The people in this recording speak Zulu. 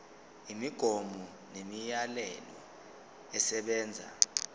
imigomo nemiyalelo esebenza